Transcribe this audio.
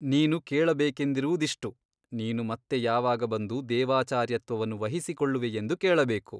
ನೀನು ಕೇಳಬೇಕೆಂದಿರುವುದಿಷ್ಟು ನೀನು ಮತ್ತೆ ಯಾವಾಗ ಬಂದು ದೇವಾಚಾರ್ಯತ್ವವನ್ನು ವಹಿಸಿಕೊಳ್ಳುವೆಯೆಂದು ಕೇಳಬೇಕು.